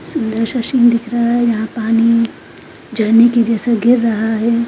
सुंदर सा शील दिख रहा है यहां पानी झरने के जैसा गिर रहा है।